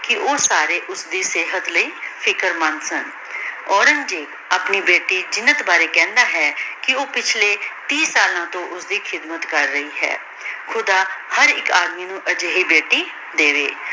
ਕੇ ਊ ਸਾਰੇ ਓਸਦੀ ਸੇਹਤ ਲੈ ਫਿਕਰ ਮੰਦ ਸਨ ਔਰੇਨ੍ਗ੍ਜ਼ੇਬ ਆਪਣੀ ਬੇਟੀ ਜੀਨਤ ਬਾਰੇ ਕਹੰਦਾ ਹੈ ਕੇ ਊ ਪਿਛਲੀ ਟੀ ਸਾਲਾਂ ਤੋਂ ਓਸ੍ਸਦੀ ਖਿਦਮਤ ਕਰ ਰਹੀ ਹੈ ਖੁਦਾ ਹਰ ਏਇਕ ਆਦਮੀ ਨੂ ਅਜੇਹੀ ਬੇਟੀ ਦੇਵੇ